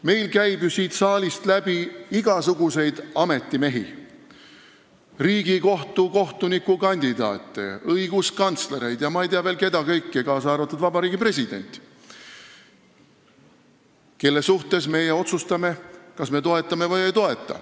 Meil käib siit saalist läbi igasuguseid ametimehi – Riigikohtu kohtuniku kandidaate, õiguskantslereid ja ma ei tea, keda kõike veel, kaasa arvatud Vabariigi President –, kelle puhul meie otsustame, kas me toetame neid või ei toeta.